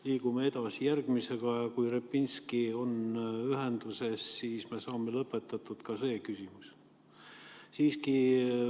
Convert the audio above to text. Liigume edasi järgmise juurde ja kui Repinski on ühendust saanud, siis me saame lõpetada ka selle küsimuse.